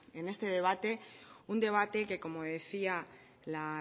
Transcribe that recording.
en este debate un debate que como decía la